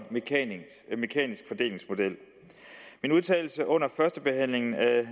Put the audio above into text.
mekanisk fordelingsmodel min udtalelse under førstebehandlingen af